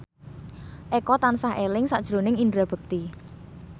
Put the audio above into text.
Eko tansah eling sakjroning Indra Bekti